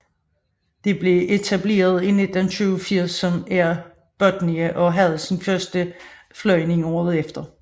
Det blev etableret i 1987 som Air Botnia og havde sin første flyvning året efter